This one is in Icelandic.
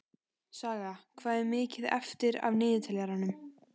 Saga, hvað er mikið eftir af niðurteljaranum?